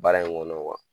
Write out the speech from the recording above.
Baara in kɔnɔ